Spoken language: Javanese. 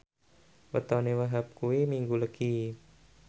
wetone Wahhab kuwi Minggu Legi